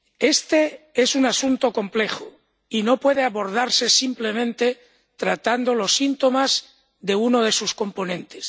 Este es un asunto complejo y no puede abordarse simplemente tratando los síntomas de uno de sus componentes.